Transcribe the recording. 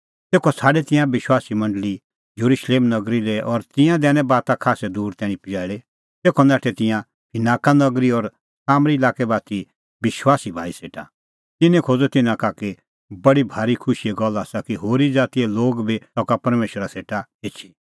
तेखअ छ़ाडै तिंयां विश्वासी मंडल़ी येरुशलेम नगरी लै और तिंयां दैनै बाता खास्सै दूर तैणीं पजैल़ी तेखअ नाठै तिंयां फिनाका नगरी और सामरी लाक्कै बाती विश्वासी भाई सेटा तिन्नैं खोज़अ तिन्नां का कि बडी भारी खुशीए गल्ल आसा कि होरी ज़ातीए लोग बी सका परमेशरा सेटा एछी